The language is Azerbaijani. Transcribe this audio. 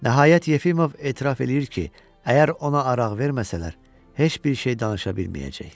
Nəhayət Yefimov etiraf eləyir ki, əgər ona araq verməsələr, heç bir şey danışa bilməyəcək.